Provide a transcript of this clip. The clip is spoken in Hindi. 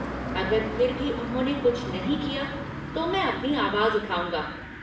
अगर फिर भी उन्होंने कुछ नहीं किया तो मैं अपनी आवाज़ उठाउंगा।